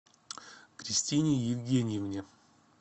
кристине евгеньевне